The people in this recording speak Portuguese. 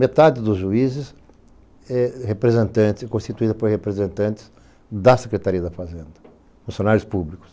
Metade dos juízes é representante constituída por representantes da Secretaria da Fazenda, funcionários públicos.